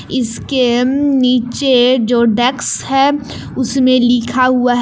इसके नीचे जो डेक्स है उसमें लिखा हुआ है।